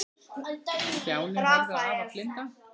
Stjáni horfði á afa blinda.